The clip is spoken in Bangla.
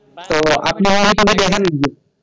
তো আপনি movie টুভি দেখেন নাকি?